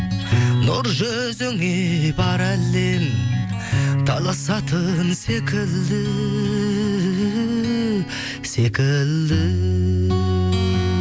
нұр жүзіңе бар әлем таласатын секілді секілді